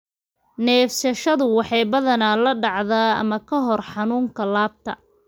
Neefsashadu waxay badanaa la dhacdaa, ama ka hor xanuunka laabta.